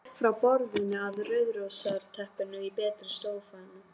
Gekk frá borðinu að rauðrósótta teppinu í betri stofunni.